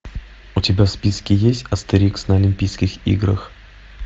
у тебя в списке есть астерикс на олимпийских играх